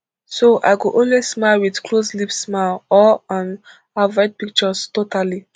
so i go always smile wit closed lip smile or um avoid pictures totally